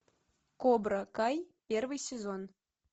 кобра кай первый сезон